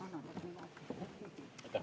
Aitäh!